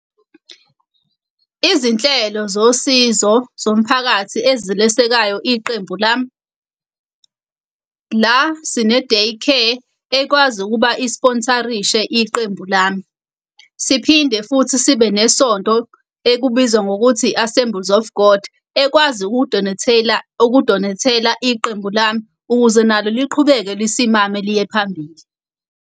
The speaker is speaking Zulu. Izinhlelo zosizo zomphakathi ezilesekayo iqembu lami, la sine-day care ekwazi ukuba i-sponsor-rishe iqembu lami. Siphinde futhi sibe nesonto ekubizwa ngokuthi i-Assembles of God ekwazi ukudonethela ukudonethela iqembu lami, ukuze nalo liqhubeke lisimame, liye phambili.